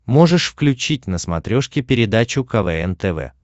можешь включить на смотрешке передачу квн тв